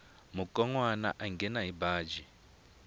mukonwana a nghena hi baji